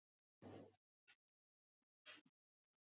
En þeir könnuðust við mig og mitt erindi og settu kerfið í gang.